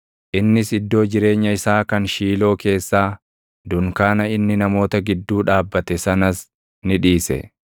Innis iddoo jireenya isaa kan Shiiloo keessaa, dunkaana inni namoota gidduu dhaabbate sanas ni dhiise.